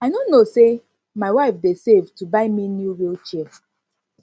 i no know say my wife dey save to buy me new wheel chair